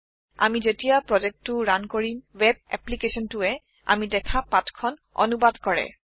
আমি যেতিয়া প্ৰজেক্টটি ৰাণ কৰিম ৱেব এপ্পলিকেচনটিয়ে আমি দেখা পাঠ খন অনুবাদ কৰে